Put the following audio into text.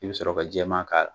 I bi sɔrɔ ka jɛma k'a la.